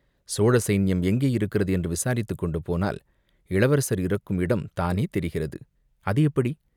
"சோழ சைன்யம் எங்கே இருக்கிறது என்று விசாரித்துக் கொண்டு போனால், இளவரசர் இருக்கும் இடம் தானே தெரிகிறது." "அது எப்படி?